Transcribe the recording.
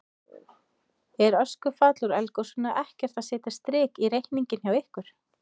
Er öskufall úr eldgosinu ekkert að setja strik í reikninginn hjá ykkur?